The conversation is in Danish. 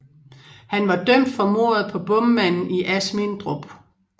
Han var dømt for mordet på bommanden i Asmindrup